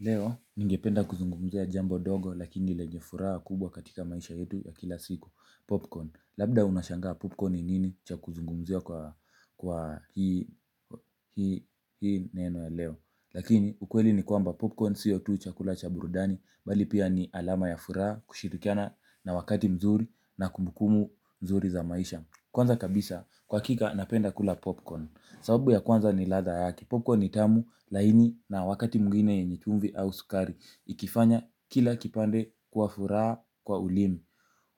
Leo ningependa kuzungumzia jambo dogo lakini lenye furaha kubwa katika maisha yetu ya kila siku popcorn. Labda unashangaa popcorn ni nini cha kuzungumzia kwa hii neno leo, lakini ukweli ni kwamba popcorn sio tu chakula cha burudanu bali ni alama ya furaha, kushirikiana na wakati mzuri na kumbukumbu nzuri za maisha. Kwanza kabisa kwa hakika napenda kula popcorn. Sababu ya kwanza ni ladha yake. Popcorn ni tamu laini na wakati mwingine yenye chumvi au sukari. Ikifanya kila kipande kuwa furaha kwa ulimi.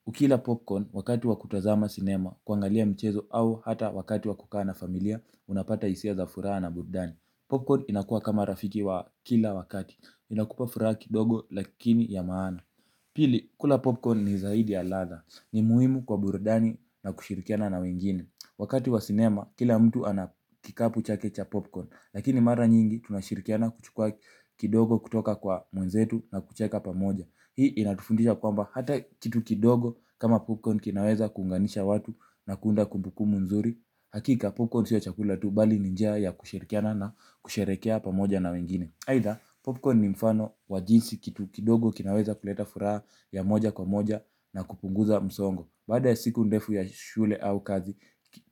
Ukila popcorn wakati wa kutazama sinema kuangalia mchezo au hata wakati wa kukaa na familia unapata hisia za furaha na burudani. Popcorn inakua kama rafiki wa kila wakati. Inakupa furaha kidogo lakini ya maana. Pili kula popcorn ni zaidi ya ladha ni muhimu kwa burudani na kushirikiana na wengine wakati wa sinema kila mtu ana kikapu chake cha popcorn lakini mara nyingi tunashirikiana kuchukua kidogo kutoka kwa mwenzetu na kucheka pamoja. Hii inatufundisha kwamba hata kitu kidogo kama popcorn kinaweza kuunganisha watu na kuunda kumbukumbu nzuri. Hakika popcorn sio ya chakula tu bali ni njia ya kushirikiana na kusherekea pamoja na wengine aidha popcorn ni mfano wa jinsi kitu kidogo kinaweza kuleta furaha ya moja kwa moja na kupunguza msongo baada ya siku ndefu ya shule au kazi,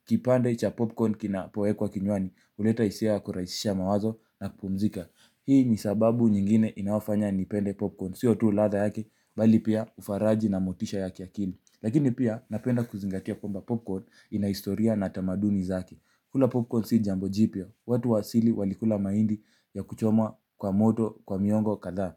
kipande cha popcorn kinapowekwa kinywani huleta hisia kurahisisha mawazo na kupumzika. Hii ni sababu nyingine inafanya nipende popcorn, siotu ladha yake, bali pia ufaraji na motisha ya kiakili. Lakini pia napenda kuzingatia kwamba popcorn ina historia na tamaduni zake. Kula popcorn si jambo jipya watu wa asili walikula mahindi ya kuchomwa kwa moto, kwa miongo kadhaa,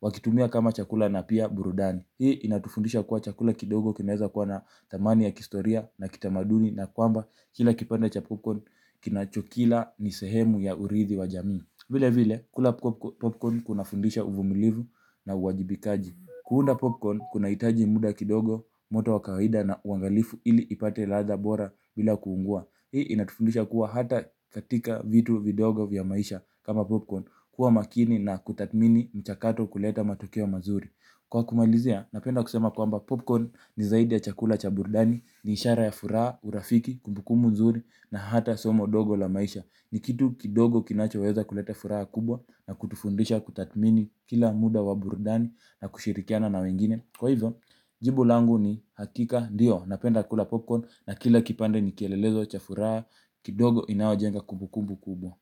wakitumia kama chakula na pia burudani. Hii inatufundisha kwa chakula kidogo kinaweza kwa na thamani ya kihistoria na kitamaduni na kwamba kila kipande cha popcorn kinachokila ni sehemu ya urithi wa jamii. Vile vile, kula popcorn kunafundisha uvumilivu na uwajibikaji. Kuunda popcorn kuna hitaji muda kidogo moto wa kawaida na uangalifu ili ipate ladha bora bila kuungua. Hii inatufundisha kuwa hata katika vitu vidogo vya maisha kama popcorn. Kuwa makini na kutathmini mchakato kuleta matukio mazuri. Kwa kumalizia napenda kusema kwamba popcorn ni zaidi ya chakula cha burudani ni ishara ya furaha urafiki kumbukumbu nzuri na hata somo dogo la maisha. Ni kitu kidogo kinachoweza kuleta furaha kubwa na kutufundisha kutathmini kila muda wa burudani na kushirikiana na wengine. Kwa hivyo, jibu langu ni hakika ndio, napenda kula popcorn na kila kipande ni kielelezo, cha furaha, kidogo inawajenga kumbukumbu kubwa.